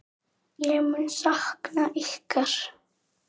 Ég mun sakna ykkar.